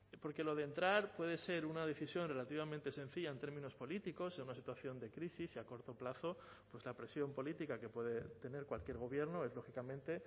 porque lo de entrar puede ser una decisión relativamente sencilla en términos políticos en una situación de crisis y a corto plazo pues la presión política que puede tener cualquier gobierno es lógicamente